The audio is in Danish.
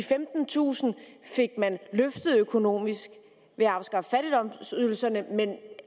femtentusind fik man løftet økonomisk ved at afskaffe fattigdomsydelserne men det